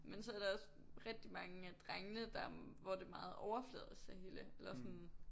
Men så der også rigtig mange af drengene der hvor det er meget overfladisk det hele eller sådan